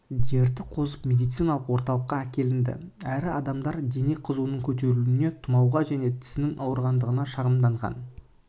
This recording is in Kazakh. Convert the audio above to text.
дерті қозып медициналық орталыққа әкелінді әрі адамдар дене қызуының көтерілуіне тұмауға және тісінің ауырғандығына шағымданған